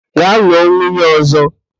Gaa lụọ nwunye ọ̀zọ́!